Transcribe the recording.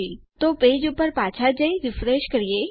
તો ચાલો આપણા પેજ ઉપર પાછા જઈએ અને તે રીફ્રેશ કરીશું